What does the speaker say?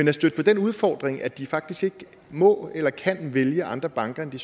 er støt på den udfordring at de faktisk ikke må eller kan vælge andre banker end